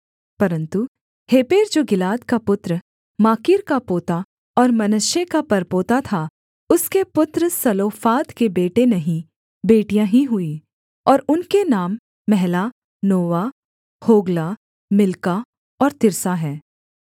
परन्तु हेपेर जो गिलाद का पुत्र माकीर का पोता और मनश्शे का परपोता था उसके पुत्र सलोफाद के बेटे नहीं बेटियाँ ही हुईं और उनके नाम महला नोवा होग्ला मिल्का और तिर्सा हैं